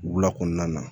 Wula kɔnɔna na